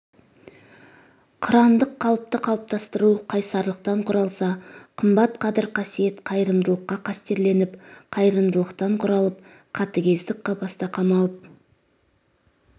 қырандық қалыпты қалыптастыру қайсарлықтан құралса қымбат қадір-қасиет қайырымдылықта қастерленіп қарапайымдылықтан құралып қатыгездік қапаста қамалып